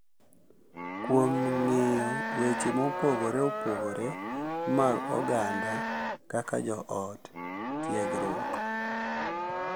Kuom ng’iyo Weche mopogore opogore mag oganda kaka jo ot, tiegruok,